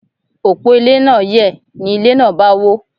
Òpó ilé náà yẹ̀, ni ilé náà bá wó.